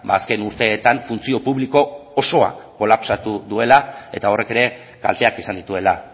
azken urteetan funtzio publiko osoa kolapsatu duela eta horrek ere kalteak izan dituela